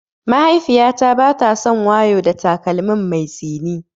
Mahaifiyata bata son wayo da takalmin mai tsini.